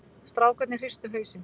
Strákarnir hristu hausinn.